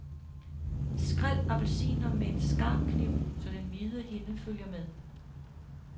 Skræl appelsinerne med en skarp kniv så den hvide hinde følger med.